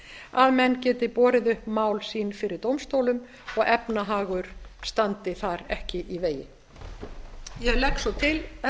að menn geti borið upp mál sín fyrir dómstólum og efnahagur standi þar ekki í vegi ég legg svo til herra